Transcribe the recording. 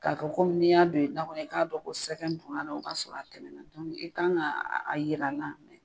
K'a kɛ kɔmi n'i y'a don i da kɔnɔ i k'a dɔn ko sɛgɛn tun o b'a sɔrɔ a tɛmɛna dɔɔni i kan ka a yira n na.